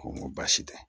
Ko n ko baasi tɛ